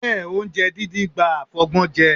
Bẹ́ẹ̀, oúnjẹ díndín gba àfọgbọ́njẹ.